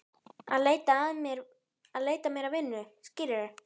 Að leita mér að vinnu, skilurðu.